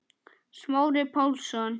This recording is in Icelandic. Smári Pálsson